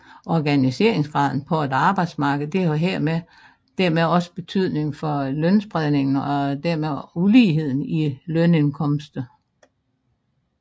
Organiseringsgraden på et arbejdsmarked har dermed også betydning for lønspredningen og dermed uligheden i lønindkomster